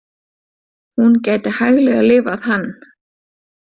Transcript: Hún gæti hæglega lifað hann.